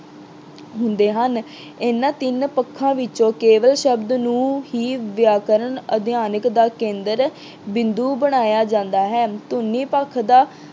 ਹੁੰਦੇ ਹਨ। ਇਹਨਾਂ ਤਿੰਨ ਪੱਖਾਂ ਵਿੱਚੋਂ ਕੇਵਲ ਸ਼ਬਦ ਨੂੰ ਹੀ ਵਿਆਕਰਨ ਅਧਿਐਨ ਦਾ ਕੇਂਦਰ ਬਿੰਦੂ ਬਣਾਇਆ ਜਾਂਦਾ ਹੈ। ਧੁਨੀ ਪੱਖ ਦਾ